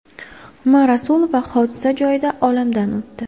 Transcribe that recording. M. Rasulova hodisa joyida olamdan o‘tdi.